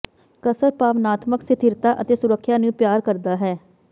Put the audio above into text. ਕਸਰ ਭਾਵਨਾਤਮਕ ਸਥਿਰਤਾ ਅਤੇ ਸੁਰੱਖਿਆ ਨੂੰ ਪਿਆਰ ਕਰਦਾ ਹੈ